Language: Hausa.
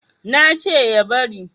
na ce ya bari